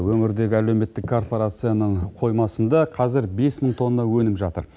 өнірдегі әлеуметтік корпорацияның қоймасында қазір бес мың тонна өніп жатыр